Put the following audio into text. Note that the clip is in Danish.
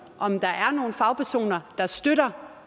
om der er nogen fagpersoner der støtter